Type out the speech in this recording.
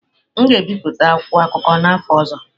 M ga-ebipụta akwụkwọ akụkọ n'afọ ọzọ.